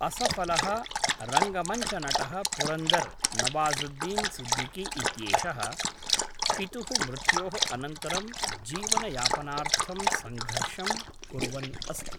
असफलः रङ्गमञ्चनटः पुरन्दर् नवाज़ुद्दीन् सिद्दिकी इत्येषः, पितुः मृत्योः अनन्तरं जीवनयापनार्थं संघर्षं कुर्वन् अस्ति।